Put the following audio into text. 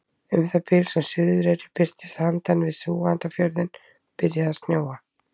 Um það bil sem Suðureyri birtist handan við Súgandafjörðinn byrjaði að snjóa.